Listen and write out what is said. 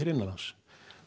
innanlands